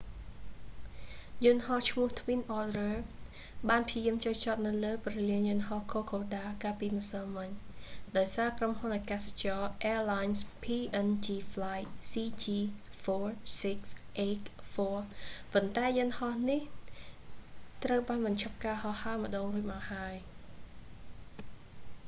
យន្តហោះឈ្មោះ twin otter បានព្យាយាមចុះចតនៅព្រលានយន្តហោះ kokoda កាលពីម្សិលម៉ិញ ដោយសារ ក្រុមហ៊ុនអាកាសចរ airlines png flight cg4684 ប៉ុន្តែយន្តហោះនេះ ត្រូវបានបញ្ឈប់ការហោះហើរម្ដងរួចមកហើយ